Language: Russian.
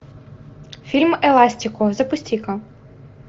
фильм эластико запусти ка